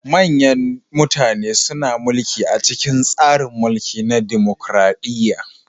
Manyan mutane suna mulki a cikin tsarin mulki na dimukraɗiya.